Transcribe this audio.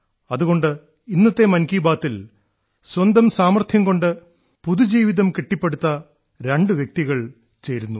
അതുകൊണ്ട് ഇന്നത്തെ മൻ കീ ബാത്തിൽ സ്വന്തം സാമർത്ഥ്യം കൊണ്ട് പുതുജീവിതം കെട്ടിപ്പടുത്ത രണ്ടു വ്യക്തികൾ ചേരുന്നു